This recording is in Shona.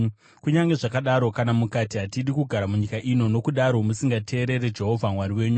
“Kunyange zvakadaro, kana mukati, ‘Hatidi kugara munyika ino,’ nokudaro musingateerere Jehovha Mwari wenyu,